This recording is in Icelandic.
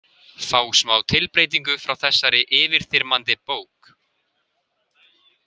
Fá smá tilbreytingu frá þessari yfirþyrmandi bók.